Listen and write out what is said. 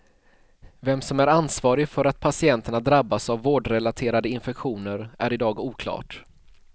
Vem som är ansvarig för att patienterna drabbas av vårdrelaterade infektioner är i dag oklart.